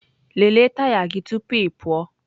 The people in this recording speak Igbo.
Lelee taya gị tupu ị pụọ!